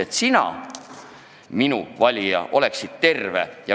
Et ka sina, minu valija, oleksid terve.